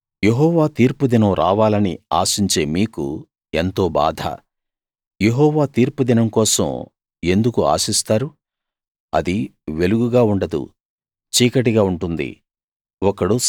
యెహోవా తీర్పు దినం రావాలని ఆశించే మీకు ఎంతో బాధ యెహోవా తీర్పు దినం కోసం ఎందుకు ఆశిస్తారు అది వెలుగుగా ఉండదు చీకటిగా ఉంటుంది